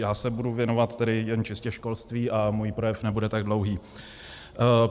Já se budu věnovat tedy čistě jen školství a můj projev nebude tak dlouhý.